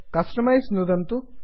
customise कस्टमैस् नुदन्तु